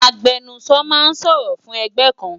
Agbẹnusọ ma ń sọ̀rọ̀ fún ẹgbẹ́ kan